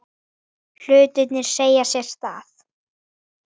Hlutir eiga sér stað.